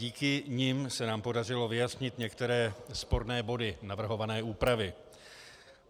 Díky nim se nám podařilo vyjasnit některé sporné body navrhované úpravy.